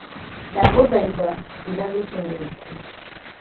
Ndagũthaitha, njĩĩra rĩĩtwa rĩaku